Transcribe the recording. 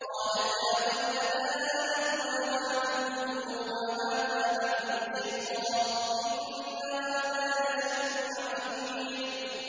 قَالَتْ يَا وَيْلَتَىٰ أَأَلِدُ وَأَنَا عَجُوزٌ وَهَٰذَا بَعْلِي شَيْخًا ۖ إِنَّ هَٰذَا لَشَيْءٌ عَجِيبٌ